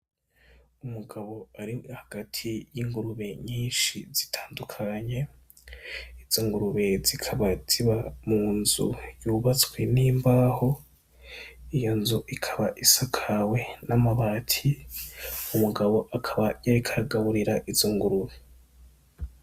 Umugabo ari hagati y'ingurube nyinshi zitandukanye, izo ngurube zikaba ziba mu nzu yubatswe n'imbaho, iyo nzu ikaba isakawe n'amabati, umugabo akaba yariko agaburira izo ngurube.